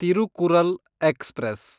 Tirukkural express